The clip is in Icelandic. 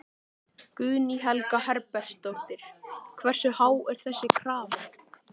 Guðný Helga Herbertsdóttir: Hversu há er þessi krafa?